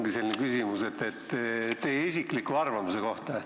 Ja mul ongi küsimus teie isikliku arvamuse kohta.